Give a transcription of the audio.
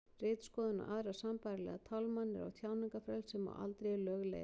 ritskoðun og aðrar sambærilegar tálmanir á tjáningarfrelsi má aldrei í lög leiða